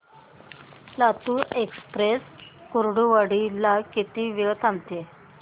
Latur Express Kurduwadi ला किती वेळ थांबते